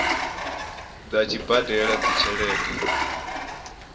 ḓa a tshi badela tshelede